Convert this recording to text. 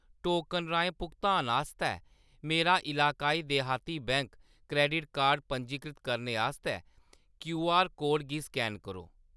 Token राहें भुगतान आस्तै मेरा एलाक्वाई देहाती बैंक क्रैडिट कार्ड कार्ड पंजीकृत करने आस्तै क्यूआर कोड गी स्कैन करो।